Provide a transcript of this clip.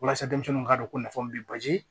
Walasa denmisɛnninw k'a dɔn ko nafa min bɛ ba